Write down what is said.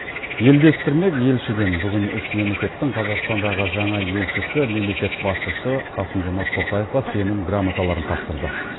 елдестірмек елшіден бүгін үш мемлекеттің қазақстандағы жаңа елшісі мемлекет басшысы қасым жомарт тоқаевқа сенім грамоталарын тапсырды